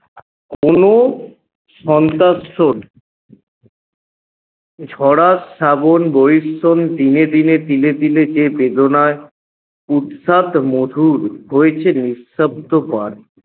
কোনো শরৎ শ্যাবণ দিনে দিনে তিলে তিলে যে বেদনায় উৎখাত মধুর হয়েছে নিঃশব্দ বার